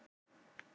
Svo var blásið í.